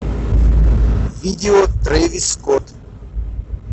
видео трэвис скотт